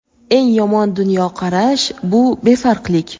Eng yomon dunyoqarash – bu befarqlik.